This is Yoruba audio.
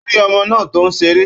Ó rí ọmọ náà tó ń ṣeré.